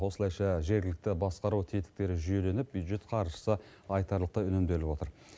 осылайша жергілікті басқару тетіктері жүйеленіп бюджет қаржысы айтарлықтай үнемделіп отыр